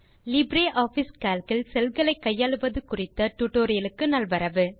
LibreOffice Calc இல் cell களை கையாளுவது குறித்த டியூட்டோரியல் க்கு நல்வரவு